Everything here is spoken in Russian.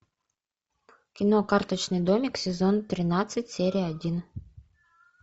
кино карточный домик сезон тринадцать серия один